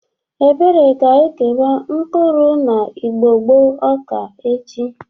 Ebere ga-ekewa mkpụrụ na igbogbo ọka echi.